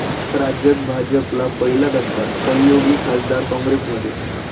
राज्यात भाजपला पहिला धक्का, सहयोगी खासदार काँग्रेसमध्ये